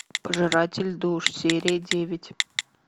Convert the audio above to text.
пожиратель душ серия девять